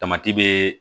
Tamati be